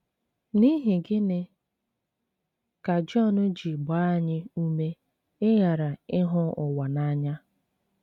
N’ihi gịnị ka Jọn ji gbaa anyị ume ịghara ịhụ ụwa n’anya?